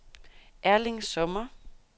Erling Sommer